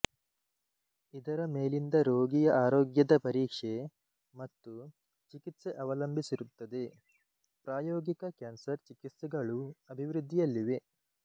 ಇದರ ಮೇಲಿಂದ ರೋಗಿಯ ಆರೋಗ್ಯದ ಪರೀಕ್ಷೆ ಮತ್ತು ಚಿಕಿತ್ಸೆ ಅವಲಂಬಿಸಿರುತ್ತದೆ ಪ್ರಾಯೋಗಿಕ ಕ್ಯಾನ್ಸರ್ ಚಿಕಿತ್ಸೆಗಳೂ ಅಭಿವೃದ್ಧಿಯಲ್ಲಿವೆ